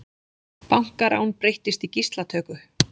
Bankarán breyttist í gíslatöku